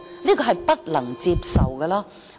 這是不能接受的。